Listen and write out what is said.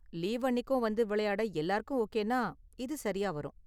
Leave அன்னிக்கும் வந்து விளையாட எல்லாருக்கும் ஓகேனா இது சரியா வரும்.